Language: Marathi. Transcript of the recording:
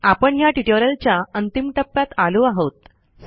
आपण ह्या ट्युटोरियलच्या अंतिम टप्प्यात आलो आहोत